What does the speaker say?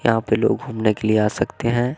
यहां पे लोग घूमने के लिए आ सकते हैं।